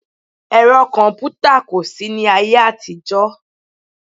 Ẹ̀rọ kọ̀mpútà kò sí ní ayé àtijọ́